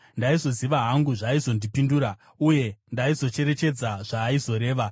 Ndaizoziva hangu zvaaizondipindura, uye ndaizocherechedza zvaaizoreva.